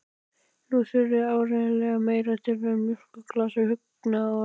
Nú þurfti áreiðanlega meira til en mjólkurglas og huggunarorð.